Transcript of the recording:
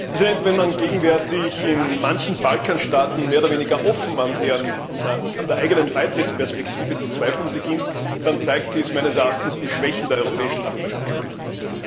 Herr Präsident! Wenn man gegenwärtig in manchen Balkanstaaten mehr oder weniger offen an der eigenen Beitrittsperspektive zu zweifeln beginnt, dann zeigt dies meines Erachtens die Schwächen der europäischen Nachbarschaftspolitik.